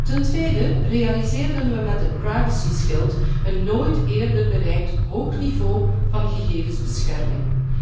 Ten tweede realiseerden we met het privacyschild een nooit eerder bereikt hoog niveau van gegevensbescherming.